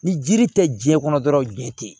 Ni jiri tɛ jiɲɛ kɔnɔ dɔrɔn jiɲɛ tɛ yen